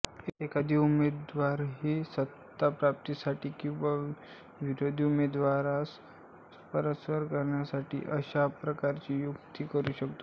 एखादा उमेदवारही सत्ता प्राप्तीसाठी किंवा विरोधी उमेदवारास परास्त करण्यासाठी अशा प्रकारची युती करू शकतो